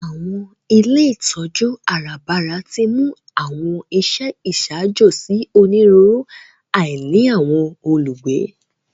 Àwọn ilé ìtójú àràbarà timú àwọn iṣẹ iṣaajo si oniruuru àìní àwọn olugbe.